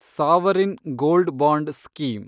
sovereign gold bond scheme